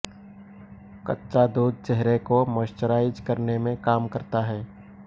कच्चा दूध चेहरे को मॉइश्चराइज करने में काम करता है